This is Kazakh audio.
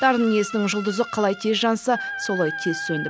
дарын иесінің жұлдызы қалай тез жанса солай тез сөнді